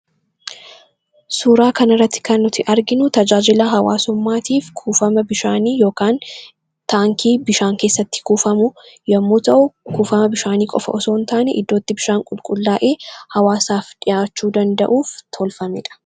Suuraa kana irratti kan nuti arginu tajaajila hawaasummaatiif kuufama bishaanii yookiin taankii bishaan keessatti kuufamu yommuu ta'u, kuufama bishaanii qofas osoo hin taane bakka itti bishaan qulqullaa'ee hawaasaaf dhiyaachuu akka danda'uuf tolfamedha.